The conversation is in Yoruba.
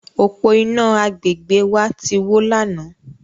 Òpó-iná agbègbè wa ti wó lánàá.